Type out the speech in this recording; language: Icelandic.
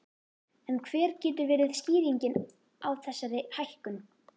En hver getur verið skýringin á þessari hækkun?